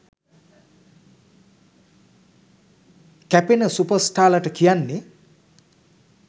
කැපෙන සුපර් ස්ටාර්ලාට කියන්නේ.